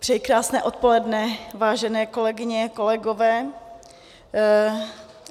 Přeji krásné odpoledne, vážené kolegyně, kolegové.